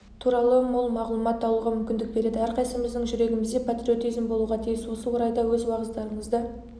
туралы мол мағлұмат алуға мүмкіндік береді әрқайсымыздың жүрегімізде патриотизм болуға тиіс осы орайда өз уағыздарыңызда